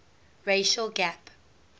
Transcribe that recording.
racial gap